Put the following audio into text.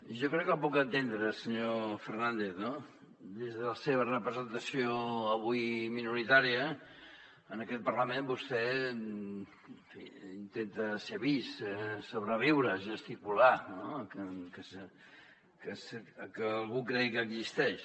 jo crec que el puc entendre senyor fernández no des de la seva representació avui minoritària en aquest parlament vostè intenta ser vist sobreviure gesticular que algú cregui que existeix